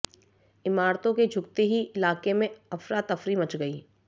इमारतों के झुकते ही इलाके में अफरातफरी मच गई